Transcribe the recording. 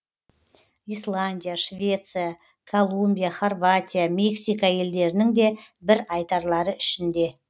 исландия швеция колумбия хорватия мексика елдерінің де бір айтарлары ішінде